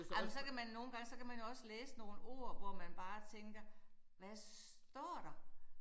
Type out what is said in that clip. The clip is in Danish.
Ej men så kan man nogle gange så kan man jo også læse nogle ord hvor man bare tænker hvad står der